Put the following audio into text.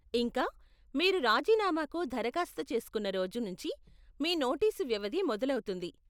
ఇంకా, మీరు రాజీనామాకు దరఖాస్తు చేసుకున్న రోజు నుంచి మీ నోటీసు వ్యవధి మొదలౌతుంది.